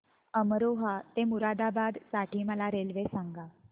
अमरोहा ते मुरादाबाद साठी मला रेल्वे सांगा